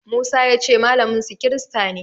Musa ya ce malaminsu kirista ne.